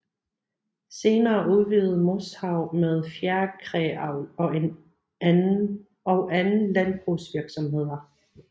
Senere udvidede Moshav med fjerkræavl og anden landbrugsvirksomheder